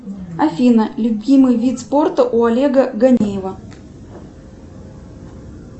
афина любимый вид спорта у олега ганеева